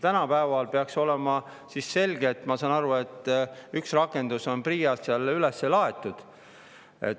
No ma saan aru, et üks rakendus on PRIA‑s üles laaditud.